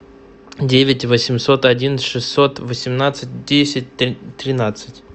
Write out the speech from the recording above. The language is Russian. девять восемьсот один шестьсот восемнадцать десять тринадцать